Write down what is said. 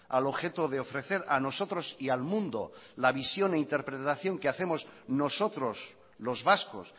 al objeto de ofrecer a nosotros y al mundo la visión e interpretación que hacemos nosotros los vascos